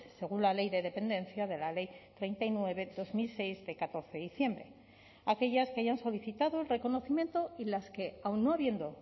según la ley de dependencia de la ley treinta y nueve barra dos mil seis de catorce de diciembre aquellas que hayan solicitado el reconocimiento y las que aun no habiendo